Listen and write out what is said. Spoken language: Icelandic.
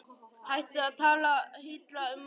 Hættu að tala illa um mömmu og pabba!